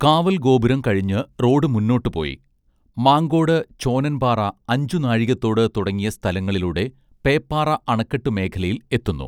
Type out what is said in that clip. കാവൽഗോപുരം കഴിഞ്ഞ് റോഡ് മുന്നോട്ടു പോയി മാങ്കോട് ചോനൻപാറ അഞ്ചുനാഴികത്തോട് തുടങ്ങിയ സ്ഥലങ്ങളിലൂടെ പേപ്പാറ അണക്കെട്ടുമേഖലയിൽ എത്തുന്നു